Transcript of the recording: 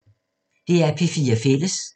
DR P4 Fælles